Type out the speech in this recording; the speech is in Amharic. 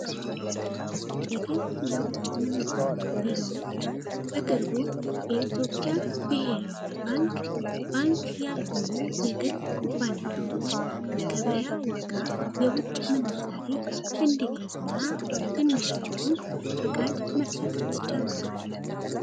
ምንዛሬ ቢሮ በቅርቡ የኢትዮጵያ ብሔራዊ ባንክ ባንክ ያልሆኑ የግል ኩባንያዎች በገበያ ዋ ጋ የውጭ ምንዛሪ ትንሿ ፍቃድ መሰጠት ጀምሯል